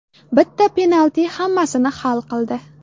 Bitta penalti hammasini hal qildi.